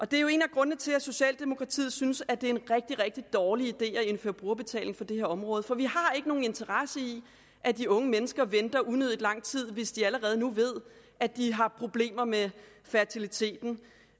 det er jo en af grundene til at socialdemokratiet synes at det er en rigtig rigtig dårlig idé at indføre brugerbetaling på det her område for vi har ikke nogen interesse i at de unge mennesker venter unødig lang tid hvis de allerede nu ved at de har problemer med fertiliteten